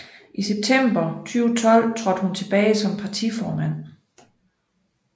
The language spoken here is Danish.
I september 2012 trådte hun tilbage som partiformand